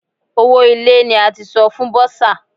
Owó ilé ní a ti san fún bọ́sà.